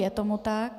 Je tomu tak.